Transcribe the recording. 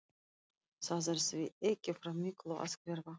Það er því ekki frá miklu að hverfa.